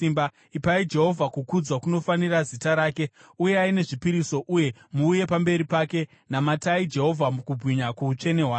ipai Jehovha kukudzwa kunofanira zita rake. Uyai nezvipiriso uye muuye pamberi pake; namatai Jehovha mukubwinya kwoutsvene hwake.